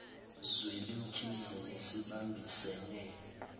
zweli mkhize nesibambisene